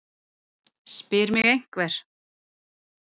spyr mig einhver.